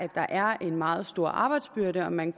der er en meget stor arbejdsbyrde og at man